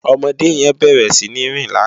Òmòdé yèn bèrè sini rín làná